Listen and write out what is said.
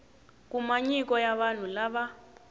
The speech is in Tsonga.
kuma nyiko ya vanhu lava